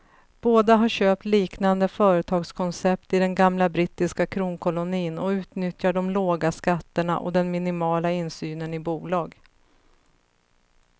Båda har köpt liknande företagskoncept i den gamla brittiska kronkolonin och utnyttjar de låga skatterna och den minimala insynen i bolag.